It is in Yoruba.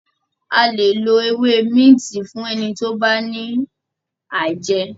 a lẹ ló ewé Minti Fún ẹni tí o bá ní aijẹ.